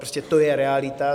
Prostě to je realita.